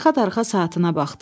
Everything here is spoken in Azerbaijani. Darıxa-darıxa saatına baxdı.